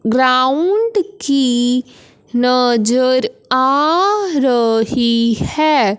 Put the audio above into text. Ground की नजर आ रही है।